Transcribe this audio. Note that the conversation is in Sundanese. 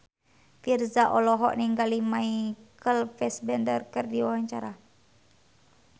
Virzha olohok ningali Michael Fassbender keur diwawancara